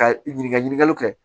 Ka i ɲininka ɲininkaliw kɛ